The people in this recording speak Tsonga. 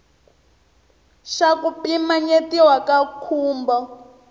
xa ku pimanyetiwa ka nkhumbo